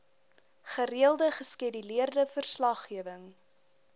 gereelde geskeduleerde verslaggewing